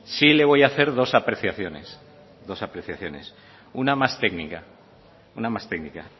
sí le voy hacer dos apreciaciones una más técnica